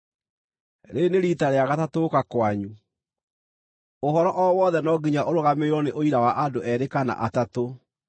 Rĩrĩ nĩ riita rĩa gatatũ gũũka kwanyu. Ũhoro o wothe no nginya ũrũgamĩrĩrwo nĩ ũira wa andũ eerĩ kana atatũ.